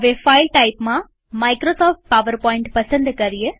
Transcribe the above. file ટાઈપમાં Microsoft PowerPoint પસંદ કરીએ